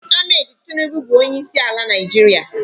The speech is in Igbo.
Ahmed Tinubu bụ onyeisi ala Nigeria